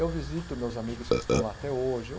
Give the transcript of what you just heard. Eu visito meus amigos que estão lá até hoje. Eu